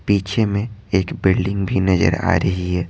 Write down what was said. पीछे में एक बिल्डिंग भी नजर आ रही है।